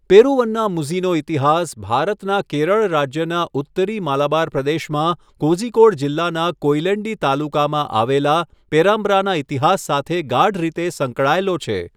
પેરુવન્નામુઝીનો ઇતિહાસ ભારતના કેરળ રાજ્યના ઉત્તરી માલાબાર પ્રદેશમાં કોઝિકોડ જિલ્લાના કોયિલેન્ડી તાલુકામાં આવેલા પેરામ્બ્રાના ઇતિહાસ સાથે ગાઢ રીતે સંકળાયેલો છે.